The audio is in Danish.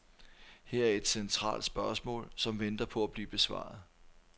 Her er et centralt spørgsmål, som venter på at blive besvaret.